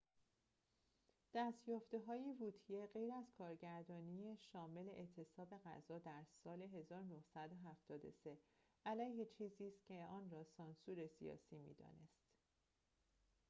دست‌یافته‌های ووتیه غیر از کارگردانی شامل اعتصاب غذا در سال ۱۹۷۳ علیه چیزی است که آن را سانسور سیاسی می‌دانست